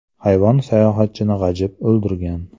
Hayvon sayohatchini g‘ajib, o‘ldirgan.